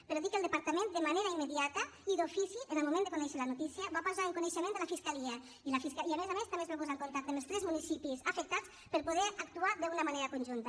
però dir que el departament de manera immediata i d’ofici en el moment de conèixer la notícia ho va posar en coneixement de la fiscalia i a més a més també es va posar en contacte amb els tres municipis afectats per poder actuar d’una manera conjunta